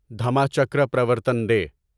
Dhamma Chakra Pravartan day